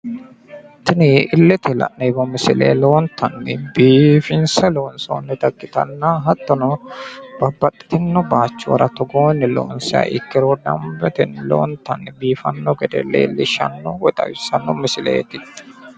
Tini illetenni la'neemmo misile lowontanni biifinse loonsonnita ikkitanna hattono babbaxxitiino bayiichora togoonni loonsiha ikkiro danbetenni lowontanni biifanno gede leellishshanno woy xawissanno misileeti